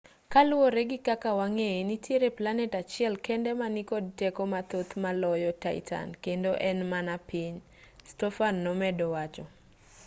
kaluwore gi kaka wang'eye nitiere planet achiel kende ma nikod teko mathoth maloyo titan kendo en mana piny stofan nomedo wacho